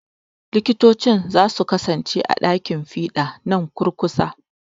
Likitocin za su kasance a ɗakin fiɗa nan kurkusa.